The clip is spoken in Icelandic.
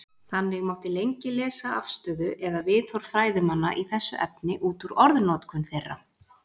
Þannig mátti lengi lesa afstöðu eða viðhorf fræðimanna í þessu efni út úr orðnotkun þeirra.